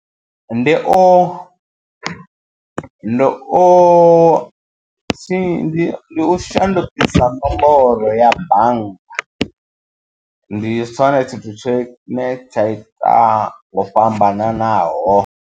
Ndi u ndi u ndi u shandukisa nomboro ya bannga ndi tshone tshithu tshine tsha ita ho fhambananaho.